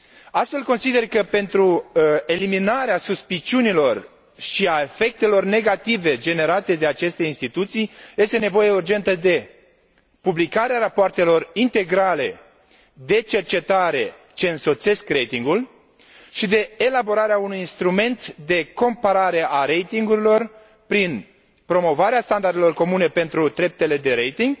Astfel, consider că, pentru eliminarea suspiciunilor și a efectelor negative generate de aceste instituții, este nevoie urgentă de publicarea rapoartelor integrale de cercetare ce însoțesc ratingul și de elaborarea unui instrument de comparare a ratingurilor prin promovarea standardelor comune pentru treptele de rating